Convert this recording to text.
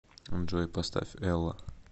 джой поставь элла